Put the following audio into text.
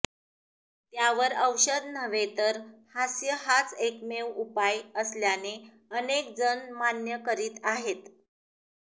त्यावर औषध नव्हे तर हास्य हाच एकमेव उपाय असल्याने अनेक जण मान्य करीत आहेत